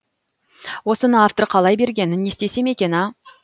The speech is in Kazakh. осыны автор қалай берген не істесем екен а